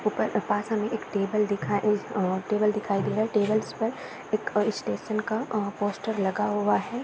ऊपर के पास एक टेबल दिखाई अ टेबल्स दिखाई दे रहा है। टेबल्स पर एक स्टेशन का पोस्टर लगा हुआ है।